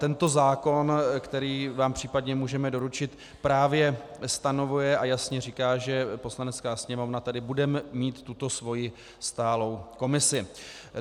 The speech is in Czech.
Tento zákon, který vám případně můžeme doručit, právě stanovuje a jasně říká, že Poslanecká sněmovna tedy bude mít tuto svoji stálou komisi.